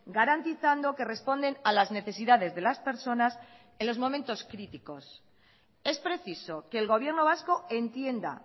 garantizando que responden a las necesidades de las personas en los momentos críticos es preciso que el gobierno vasco entienda